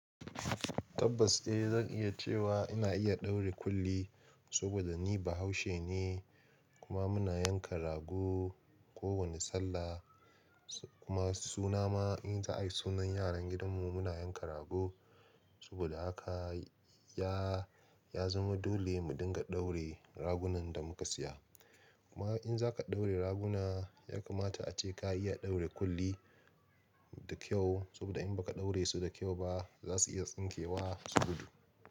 Tabbas eh. Zan iya cewa ina iya daure kulli saboda ni Bahaushe ne kuma muna yanka rago kowane sallah. Kuma suna ma in za a yi sunan yaran gidanmu muna yanka rago. Saboda haka ya, ya zama dole mu dinga daure ragunan da muka siya. Kuma in za ka daure raguna ya kamata ace ka iya daure kulli da kyau saboda in ba ka daure su da kyau ba za su iya tsinke wa su gudu.